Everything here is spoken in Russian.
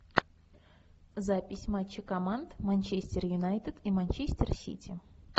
запись матча команд манчестер юнайтед и манчестер сити